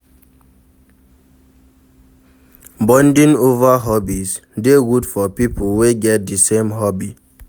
Bonding over hobbies de good for pipo wey get di same hobby